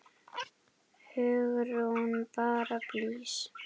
Hugrún: Bara blys?